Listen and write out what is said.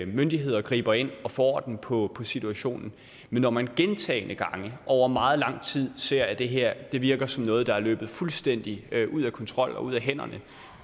myndigheder griber ind og får orden på situationen men når man gentagne gange over meget lang tid ser at det her virker som noget der er løbet fuldstændig ud af kontrol og ud af hænderne